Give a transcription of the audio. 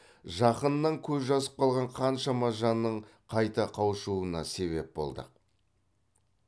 жақынынан көз жазып қалған қаншама жанның қайта қауышуына себеп болдық